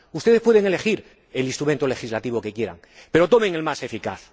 Ustedes pueden elegir el instrumento legislativo que quieran, pero tomen el más eficaz.